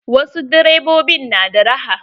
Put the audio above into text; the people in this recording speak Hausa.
Wasu direbobin na da raha.